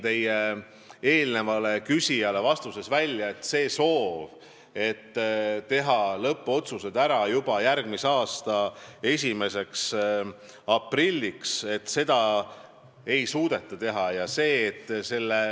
Nagu ma eelmisele küsijale vastates märkisin, soovi, et lõppotsused tehtaks juba järgmise aasta 1. aprilliks, ei suudeta täita.